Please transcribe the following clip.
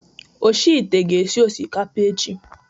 Oshi ite ga-esi osikapa echi